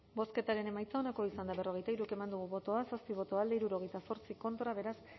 bozketaren emaitza onako izan da hirurogeita hamabost eman dugu bozka zazpi boto alde sesenta y ocho contra beraz